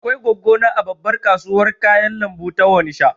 Akwai goggo na a babbar kasuwar kayan lambu ta Onisha